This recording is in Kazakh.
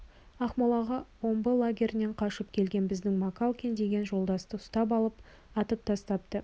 ақмолаға омбы лагерінен қашып келген біздің макалкин деген жолдасты ұстап алып атып тастапты